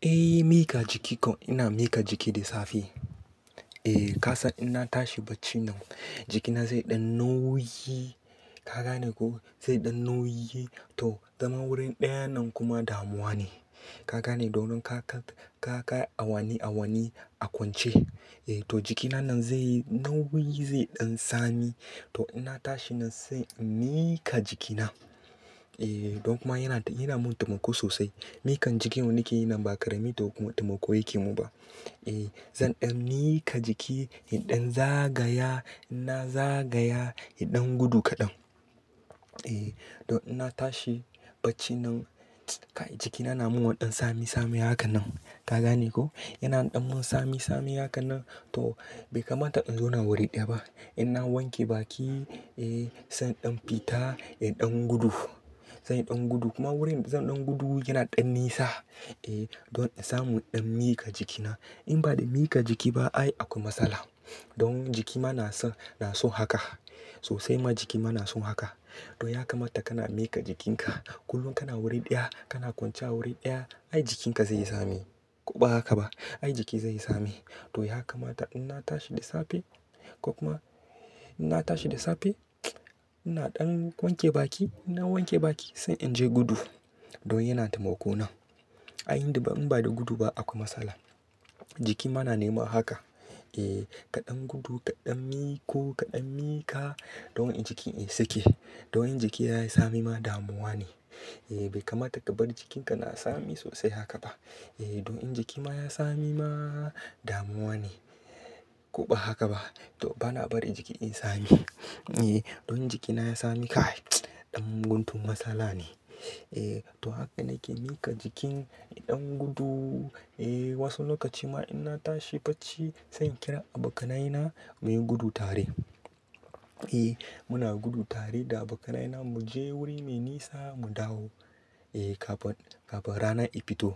Eh, mika jiki ko ina mika jiki da safe. Eh ka san in na tashi bacina jikina zai ɗan nauyi. Ka gane ko? Zai ɗan nauyi to zama wurin ɗaya nan kuma damuwa ne. Ka gane? Domin ka ka, ka ka awani awani a kwance. Eh to jikina nan zai nauyi zai ɗan sami. To in na tashi nan sai in miƙa jikina. Eh don kuma yana, yana mun taimako sosai. Mikan jiki wanne ke yi nan ba ƙarami taimako yake mun ba. Eh zan ɗan miƙa jiki, in dan zagaya, in na zagaya, in dan gudu kaɗan. Eh don in na tashi bacina kai jikina yana mun wa ɗan sami sami haka nan. Ka gane ko? Yana ɗan mun sami sami haka nan to bai kamata in zauna wuri ɗaya ba. In na wanke baki eh sai in ɗan fita, eh ɗan gudu. Sai in ɗan gudu kuma wurin zan ɗan gudu yana ɗan nisa. Eh don in samu ɗan miƙa jikina. In ba da miƙa jiki ba ai akwai matsala. Don jiki ma na so, na so haka. Sosai ma jiki ma na so haka. To ya kamata kana miƙa jikinka. Kullum kana wuri ɗaya, kana kwanciya wuri ɗaya ai jikinka zai yi sami. Ko ba haka ba? Ai jiki zai yi sami. To ya kamata in na tashi da safe ko kuma in na tashi da safe ina ɗan wanke baki. In na wanke baki sai in je gudu. Don yana tamako na. Ai inda ba, in ba da gudu ba akwai matsala. Jiki ma na nema haka. Eh kaɗan gudu, kaɗan miƙo, kaɗan miƙa don in jiki in sake. Don in jiki yayi sami ma damuwa ne. Eh bai kamata ka bar jikinka na sami sosai haka ba. Eh don in jiki ma ya sami ma damuwa ne. Ko ba haka ba? To bana bari jiki in sami. Eh don jikina ya sami kai ɗan guntu matsala ne. Eh to haka nake miƙa jikin idan gudu. Eh wasu lokaci ma in na tashi bacci sai in kira abokanaye na muyi gudu tare. Eh muna gudu tare da abokanaye na mu je wuri mai nisa mu dawo. Eh kafin, kafin rana ta fito.